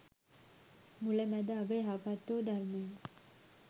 මුල, මැද, අග යහපත්වූ ධර්මය